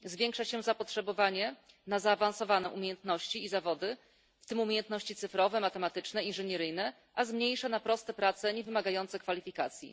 Zwiększa się zapotrzebowanie na zaawansowane umiejętności i zawody, w tym umiejętności cyfrowe, matematyczne, inżynieryjne, a zmniejsza na proste prace niewymagające kwalifikacji.